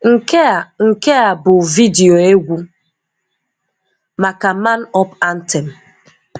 Nke a Nke a bụ vidiyo egwu maka "Man Up Anthem."